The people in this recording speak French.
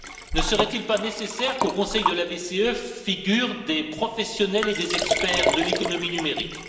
Ne serait il pas nécessaire qu'au Conseil de la BCE figurent des professionnels et des experts de l'économie numérique?